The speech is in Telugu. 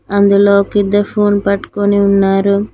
అందులో ఒక ఇద్దరు ఫోన్ పట్టుకుని ఉన్నారు.